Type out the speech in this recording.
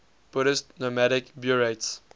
buddhist nomadic buryats